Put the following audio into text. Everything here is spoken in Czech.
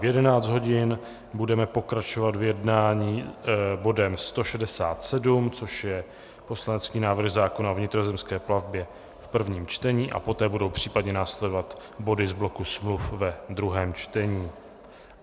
V 11 hodin budeme pokračovat v jednání bodem 167, což je poslanecký návrh zákona o vnitrozemské plavbě v prvním čtení, a poté budou případně následovat body z bloku smluv ve druhém čtení.